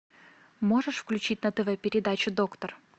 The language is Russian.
можешь включить на тв передачу доктор